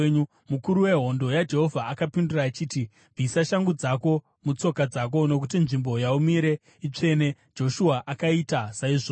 Mukuru wehondo yaJehovha akapindura achiti, “Bvisa shangu dzako mutsoka dzako nokuti nzvimbo yaumire itsvene.” Joshua akaita saizvozvo.